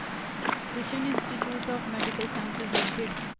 Krishna institute of medical science limited